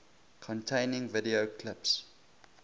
containing video clips